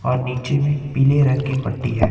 और नीचे में पीले रंग की पट्टी है।